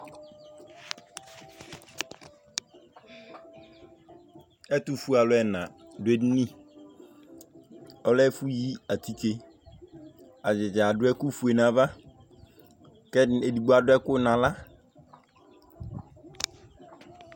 Ɛtʋfʋe alu ɛna du edini Ɔlɛ ɛfʋ yi atike Atadza adu ɛku fʋe nʋ ava kʋ ɛdigbo adu ɛku nʋ aɣla